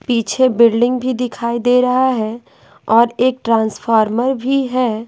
पीछे बिल्डिंग भी दिखाई दे रहा है और एक ट्रांसफार्मर भी है।